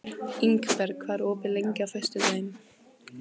Ingberg, hvað er opið lengi á föstudaginn?